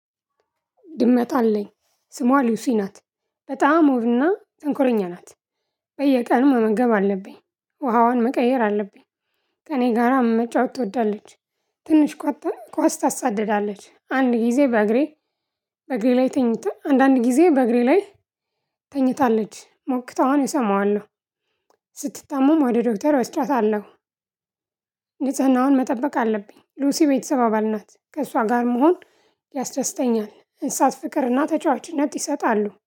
ድመት አለኝ። ስሟ ሉሲ ናት። በጣም ውብና ተንኮለኛ ናት። በየቀኑ መመገብ አለብኝ። ውሃዋን መቀየር አለብኝ። ከእኔ ጋራ መጫወት ትወዳለች። ትንሽ ቋጠን ኳስ ታሳድዳለች አንድ ጊዜ በእግሬ። በእግሬ ላይ ተኝተን አንዳንድ ጊዜ በእግሬ ላይ። ተኝታለች ሞክተው አሁን እሰማዋለሁ። ስትታሙም ወደ ዶክተር አስጫታለሁ። ንጽህናውን መጠበቅ አለብኝ ሉሲ ቤተሰብ አባል ናት። ከእሷ ጋር መሆን ያስደስተኛል። እንስሳት ፍቅርና ተጫዋችነት ይሰጣሉ